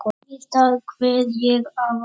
Hvað er eldgos?